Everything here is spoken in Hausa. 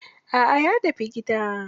A'a ya tafi gida.